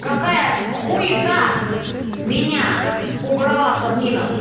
какая хуета меня убрала с админов